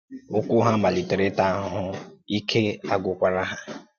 Ụ́kwụ́ hà malítèrè ị́tà àhùhù, íkè àgwùkwàrà hà.